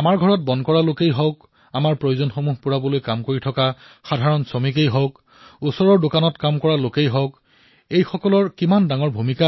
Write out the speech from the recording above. আমাৰ ঘৰত কাম কৰা লোকসকল আমাৰ প্ৰয়োজনীয়তা পূৰণ কৰা লোকসকল এওঁলোকৰ ভূমিকা কিমান অপৰিসীম